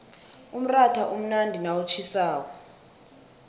umratha umnandi nawutjhisako